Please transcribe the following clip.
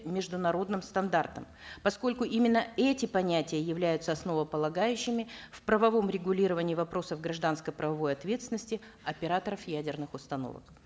международным стандартам поскольку именно эти понятия являются основополагающими в правовом регулировании вопросов гражданско правовой ответственности операторов ядерных установок